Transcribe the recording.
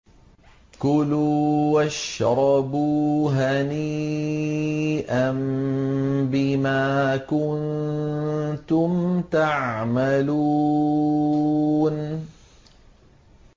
كُلُوا وَاشْرَبُوا هَنِيئًا بِمَا كُنتُمْ تَعْمَلُونَ